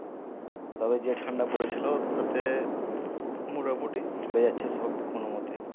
তবে যে ঠান্ডা পড়েছিল তাতে মোটামুটি চলে যাচ্ছে সব কোনো মোতে